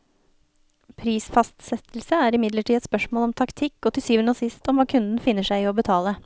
Prisfastsettelse er imidlertid et spørsmål om taktikk, og til syvende og sist om hva kunden finner seg i å betale.